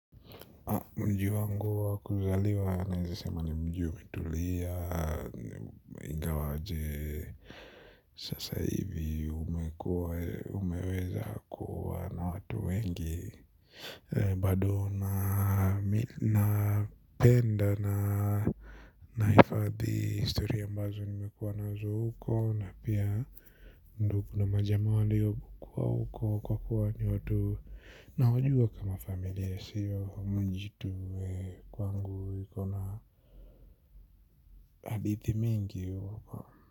Mji wangu wakuzaliwa nawezasema ni mjiu umetulia ingawaje sasa hivi umeweza kuwa na watu wengi. Badona na penda na naifadhi historia mbazo nimekuwa nazo huko na pia ndio kuna majama walio kuwa uko kwa kuwa ni watu na wajua kama familia siyo mjii tu kwangu ikona hadithi mingi wako.